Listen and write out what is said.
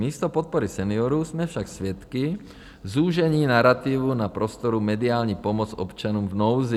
Místo podpory seniorů jsme však svědky zúžení narativu na prostoru mediální pomoc občanům v nouzi.